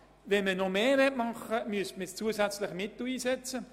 Wenn man noch mehr tun wollte, müsste man zusätzliche Mittel einsetzen.